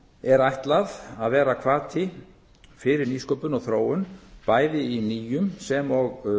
er ætlað að vera hvati fyrir nýsköpun og þróun bæði í nýjum sem og